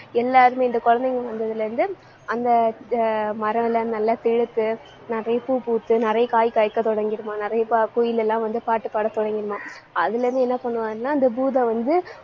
எல்லாருமே, இந்த குழந்தைங்க வந்ததுல இருந்து அந்த ஆஹ் மரம் எல்லாம் நல்லா செழித்து நிறைய பூ பூத்து, நிறைய காய் காய்க்க தொடங்கிடுமாம். நிறைய ப~ குயில் எல்லாம் வந்து பாட்டு பாட தொடங்கிடுமாம். அதுல இருந்து என்ன பண்ணுவாருன்னா அந்த பூதம் வந்து,